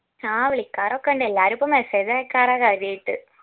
ആ വിളിക്കാറൊക്കെ ഇണ്ട് എല്ലാരും ഇപ്പൊ message അയക്കാറാ കാര്യായിട്ട്